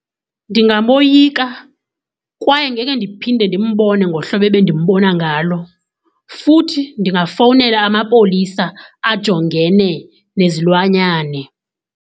Ndingaboyika kwaye ngeke ndiphinde ndimbone ngohlobo ebendimbona ngalo. Futhi ndingafowunela amapolisa ajongene nezilwanyane.